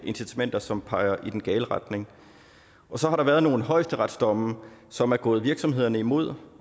incitamenter som peger i den gale retning så har der været nogle højesteretsdomme som er gået virksomhederne imod